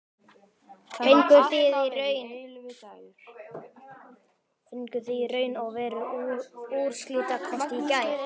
Fenguð þið í raun og veru úrslitakosti í gær?